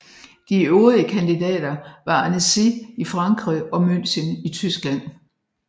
De øvrige kandidater var Annecy i Frankrig og München i Tyskland